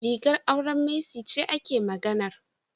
Rigar auren Mercy ce ake maganar.